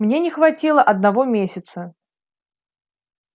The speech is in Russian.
мне не хватило одного месяца